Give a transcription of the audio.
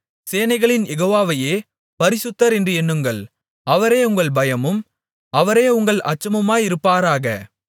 சேனைகளின் யெகோவாவையே பரிசுத்தர் என்று எண்ணுங்கள் அவரே உங்கள் பயமும் அவரே உங்கள் அச்சமுமாயிருப்பாராக